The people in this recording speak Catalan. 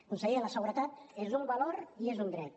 conseller la seguretat és un valor i és un dret